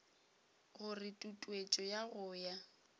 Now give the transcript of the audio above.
gore tutuetšo ya go ya